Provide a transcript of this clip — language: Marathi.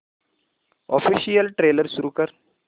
ऑफिशियल ट्रेलर सुरू कर